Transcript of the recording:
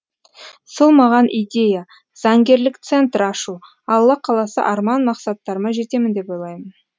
сол маған идея заңгерлік центр ашу алла қаласа арман мақсаттарыма жетемін деп ойлаймын